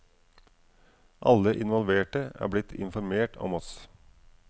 Alle involverte er blitt informert om oss.